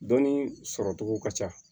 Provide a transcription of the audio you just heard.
Dɔnni sɔrɔ cogo ka ca